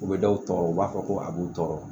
U bɛ dɔw tɔɔrɔ u b'a fɔ ko a b'u tɔɔrɔ